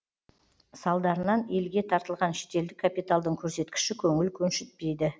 салдарынан елге тартылған шетелдік капиталдың көрсеткіші көңіл көншітпейді